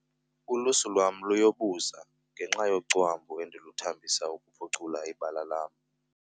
Ulusu lwam luyobuza ngenxa yocwambu endiluthambisela ukuphucula ibala lam.